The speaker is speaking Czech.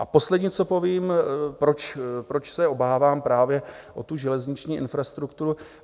A poslední, co povím, proč se obávám právě o tu železniční infrastrukturu.